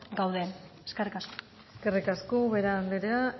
gauden eskerrik asko eskerrik asko ubera anderea